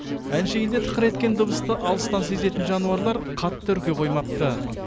әншейінде тықыр еткен дыбысты алыстан сезетін жануарлар қатты үрке қоймапты